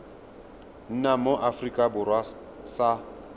nna mo aforika borwa sa